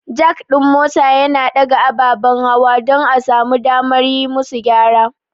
Jack ɗin mota yana ɗaga ababen hawa don a samu damar yi musu gyara.